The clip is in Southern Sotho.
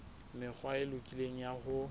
mekgwa e lokileng ya ho